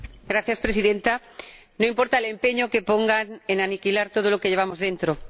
Señora Presidenta No importa el empeño que pongan en aniquilar todo lo que llevamos dentro.